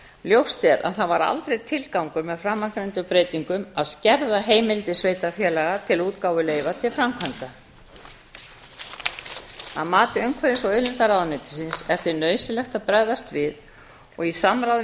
ljóst er að það var aldrei tilgangur með framangreindum breytingum að skerða heimildir sveitarfélaga til útgáfu leyfa til framkvæmda að mati umhverfis og auðlindaráðuneytisins er því nauðsynlegt að bregðast við í samráði við